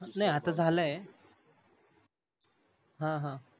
नाही आता झालाय हा ह